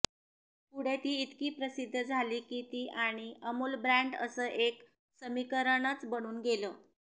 पुढे ती ईतकी प्रसिध झाली की ती आणी अमूल ब्रॅड अस एक समीकरणच बनून गेल